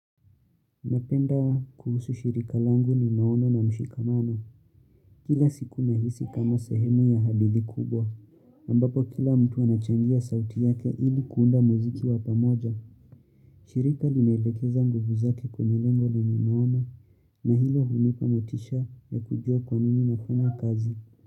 Napenda kuhusu shirika langu ni maono na mshikamano. Kila siku nahisi kama sehemu ya hadithi kubwa. Ambapo kila mtu anachangia sauti yake ili kuunda muziki wa pamoja. Shirika linaelekeza nguvu zake kwenye lengo lenye maana na hilo hunipa motisha ya kujua kwa nini nafanya kazi.